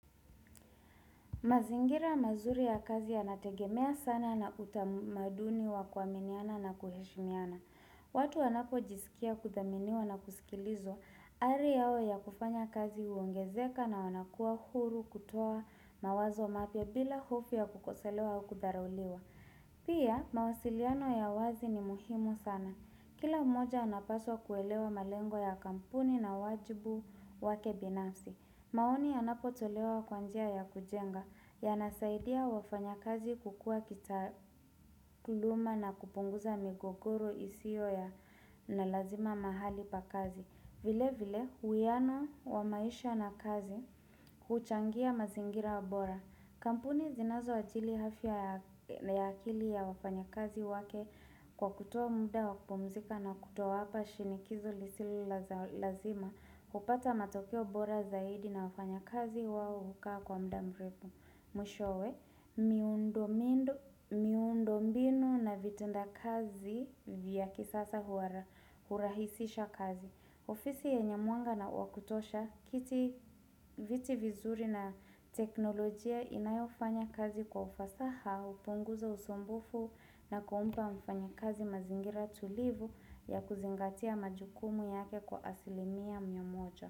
Mazingira mazuri ya kazi ya nategemea sana na utamaduni wa kuaminiana na kuheshimiana. Watu wanapojisikia kudhaminiwa na kusikilizwa, ari yao ya kufanya kazi uongezeka na wanakua huru kutoa mawazo mapya bila hofu ya kukoselewa au kudharauliwa. Pia, mawasiliano ya wazi ni muhimu sana. Kila mmoja anapaswa kuelewa malengo ya kampuni na wajibu wake binafsi. Maoni yanapo tolewa kwanjia ya kujenga ya nasaidia wafanya kazi kukua kitakuluma na kupunguza migogoro isio ya na lazima mahali pa kazi. Vile vile huyano wa maisha na kazi huchangia mazingira bora. Kampuni zinazo ajili afya ya na ya akili ya wafanya kazi wake kwa kutoa mda wakupumzika na kutowaapa shinikizo lisili la lazima, hupata matokeo bora zaidi na wafanya kazi wao hukaa kwa mdamrefu. Mwishowe, miundomindu miundombinu na vitenda kazi vya kisasa huara hurahisisha kazi. Ofisi yenye mwanga na wakutosha, kiti viti vizuri na teknolojia inayofanya kazi kwa ufasaha upunguza usumbufu na kuumpa mfanya kazi mazingira tulivu ya kuzingatia majukumu yake kwa asilimia mia moja.